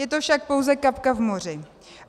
Je to však pouze kapka v moři.